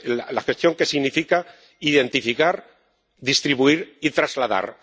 la gestión que significa identificar, distribuir y trasladar.